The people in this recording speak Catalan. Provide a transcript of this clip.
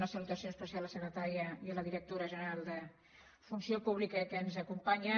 una salutació especial a la secretària i a la directora general de funció pública que ens acompanyen